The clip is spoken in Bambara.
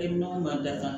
E man datugu